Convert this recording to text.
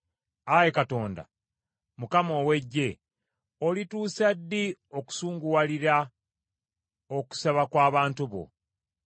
Ayi Katonda, Mukama ow’Eggye, olituusa ddi okusunguwalira okusaba kw’abantu bo?